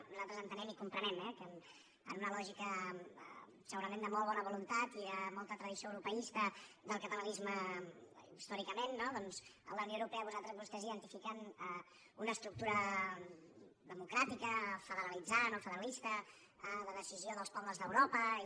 nosaltres entenem i comprenem eh que en una lògica segurament de molt bona voluntat i de molta tradició europeista del catalanisme històricament no doncs en la unió europea vostès hi identifiquen una estructura democràtica federalitzant o federalista de decisió dels pobles d’europa i